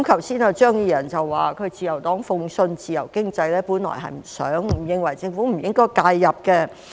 張宇人議員剛才說自由黨信奉自由經濟，本來不想並認為政府不應介入。